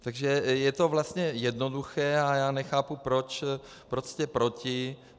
Takže je to vlastně jednoduché a já nechápu, proč jste proti.